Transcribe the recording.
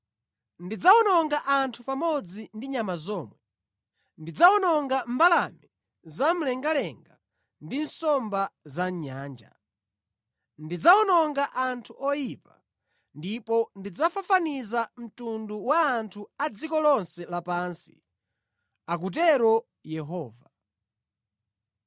“Ndidzawononga anthu pamodzi ndi nyama zomwe; ndidzawononga mbalame zamlengalenga ndi nsomba za mʼnyanja. Ndidzawononga anthu oyipa, ndipo ndidzafafaniza mtundu wa anthu pa dziko lonse lapansi,” akutero Yehova.